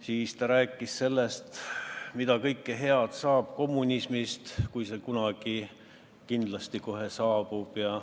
Siis ta rääkis sellest, mida kõike head toob kommunism, kui see kunagi kohe kindlasti saabub.